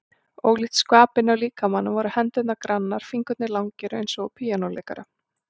Ólíkt skvapinu á líkamanum voru hendurnar grannar, fingurnir langir eins og á píanóleikara.